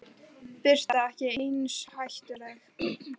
Birta: Ekki eins hættuleg?